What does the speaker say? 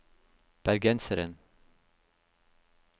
bergenseren